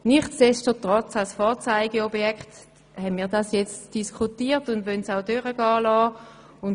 Nichtsdestotrotz haben wir es als Vorzeigeprojekt diskutiert und werden es auch durchgehen lassen.